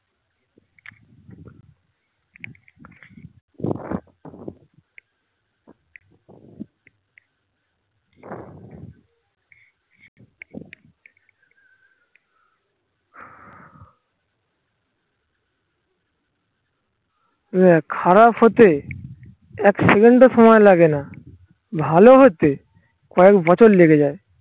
দেখ খারাপ হতে এক second ও সময় লাগে না. ভালো হতে কয়েক বছর লেগে যায়